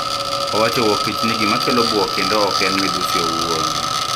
Owacho Wuoktich ni gimakelo buok kendo ok en midhusi owuon,